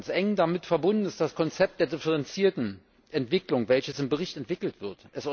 Eng damit verbunden ist das Konzept der differenzierten Entwicklung, welches im Bericht entwickelt wird.